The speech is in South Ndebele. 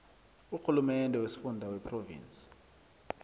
urhulumende wesifunda wephrovinsi